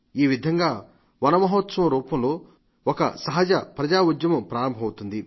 ఈ విధంగా మన మహోత్సవం రూపంలో ఒక సహజ ప్రజాఉద్యమం ప్రారంభమవుతుంది